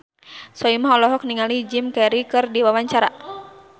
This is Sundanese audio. Soimah olohok ningali Jim Carey keur diwawancara